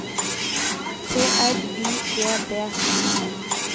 T R Y G D